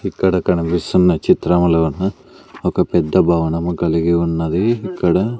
ఇక్కడ కనిపిస్తున్న చిత్రములోన ఒక పెద్ద భవనము కలిగి ఉన్నది ఇక్కడ.